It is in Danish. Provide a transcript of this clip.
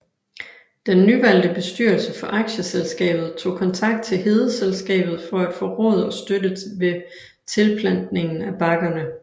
Den nyvalgte bestyrelse for aktieselskabet tog kontakt til Hedeselskabet for at få råd og støtte ved tilplantningen af bakkerne